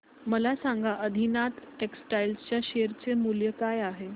मला सांगा आदिनाथ टेक्स्टटाइल च्या शेअर चे मूल्य काय आहे